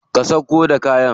Ka sauƙo da kayan.